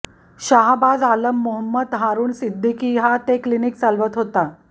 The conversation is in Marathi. शाहबाज आलम मोहम्मद हारुण सिद्दिकी हा ते क्लिनिक चालवत होता